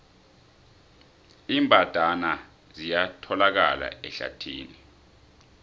iimbandana ziyatholakala ehlathini